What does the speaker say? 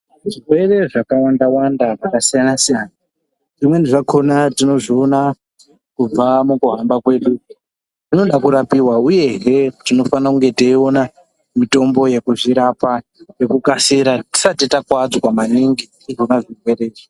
Zvirwere zvakawanda wanda zvakasiyanasiyana zvimweni zvakona tinozviona kubva mukuhamba kwedu zvinoda kurapiwa uye he tinofanire kunge teiona mitombo yekuzvirapa nekukasira tisati takuwadzwa maningi ngezvirwere izvi.